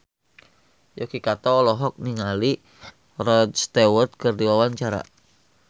Yuki Kato olohok ningali Rod Stewart keur diwawancara